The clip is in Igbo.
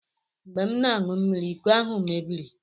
Mgbe m na-aṅụ mmiri, iko ahụ mebiri